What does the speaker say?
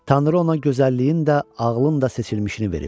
Tanrı ona gözəlliyin də, ağlın da seçilmişini verib.